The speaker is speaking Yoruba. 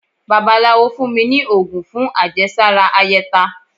bàbálawo fún mí ní ogún fún àjésárá áyetá